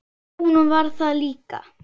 Hún var það líka.